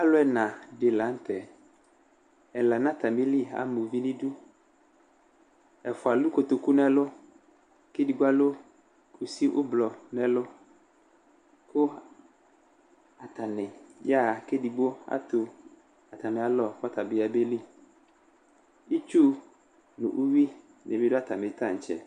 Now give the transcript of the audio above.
Alʋ ɛna dɩnɩ la nʋtɛ Ɛla nʋ atamili ama uvi nʋ idu Ɛfʋa alʋ kotoku nʋ ɛlʋ, kʋ edigbo alʋ kʋsɩ ʋblɔ nʋ ɛlʋ, kʋ ata nɩ ayaɣa, kʋ edigbo atʋ atamɩ alɔ kʋ ɔta bɩ ɔyabe li Itsu nʋ uyuɣɩ nɩ bɩ dʋ atamɩ taŋtse